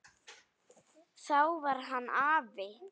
Þá var hann afi.